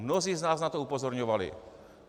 Mnozí z nás na to upozorňovali.